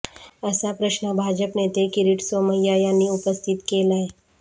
असा प्रश्न भाजप नेते किरीट सोमय्या यांनी उपस्थित केलाय